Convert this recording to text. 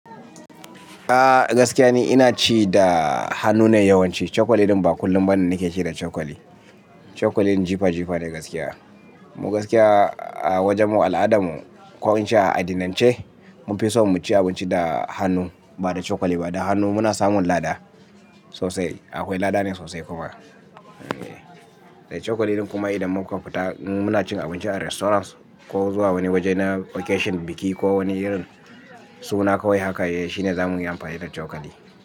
Ah gaskiya ni ina ci da hannu ne yawanci. Chokali din ba kullum ba ne nake ci da chokali. Chokali ɗin jifa jifa ne gaskiya. Mu gaskiya a wajen mu al'adan mu ko in ce a addinan ce, mun fi so mu ci abinci da hannu ba da chokali ba. Da hannu muna samun lada sosai. Akwai lada ne sosai kuma. Chokali ɗin kuma idan muka fita mu muna cin abinci a restaurants ko zuwa wani waje na vacation, biki ko wani irin suna kawai haka, shi ne za mu yi amfani da chokali.